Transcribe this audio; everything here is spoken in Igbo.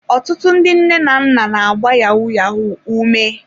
Ọtụtụ ndị nne na nna na-agba yahu-yahu ume.